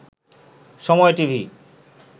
সময় টিভি